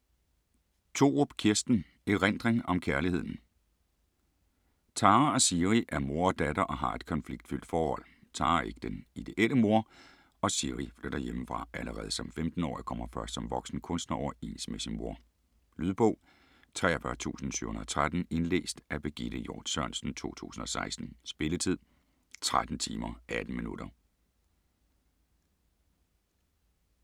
Thorup, Kirsten: Erindring om kærligheden Tara og Siri er mor og datter og har et konfliktfyldt forhold. Tara er ikke den ideelle mor, og Siri flytter hjemmefra allerede som 15-årig og kommer først som voksen kunstner overens med sin mor. Lydbog 43713 Indlæst af Birgitte Hjort Sørensen, 2016. Spilletid: 13 timer, 18 minutter.